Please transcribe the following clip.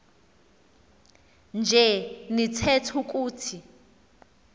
nje nitheth ukuthi